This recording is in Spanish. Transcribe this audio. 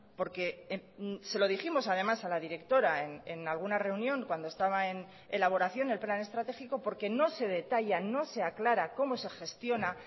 porque se lo dijimos además a la directora en alguna reunión cuando estaba en elaboración el plan estratégico porque no se detalla no se aclara cómo se gestiona